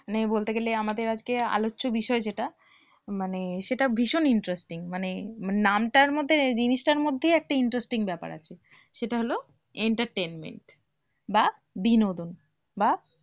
মানে বলতে গেলে আমাদের আজকে আলোচ্য বিষয় যেটা মানে সেটা ভীষণ interesting মানে নামটার মধ্যে জিনিসটার মধ্যেই interesting ব্যাপার আছে সেটা হলো entertainment বা বিনোদন বা